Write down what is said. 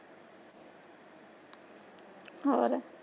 ਹੋਰ?